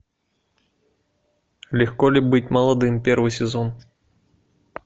легко ли быть молодым первый сезон